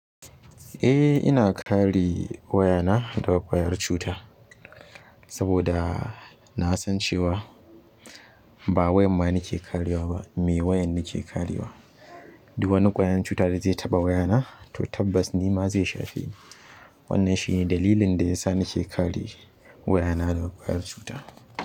Eh ina kare wayana daga ƙwayar cuta saboda na san cewa ba wayan ma nake karewa ba me wayan nake karewa. Duk wani ƙwayar cuta da zai taɓa wayana, toh tabbas nima zai shafe ni. Wannan shi ne dalilin da yasa nake kare wayana daga ƙwayar cuta.